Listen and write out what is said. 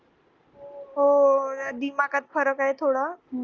हो नदी पाकात फरक आहे थोडा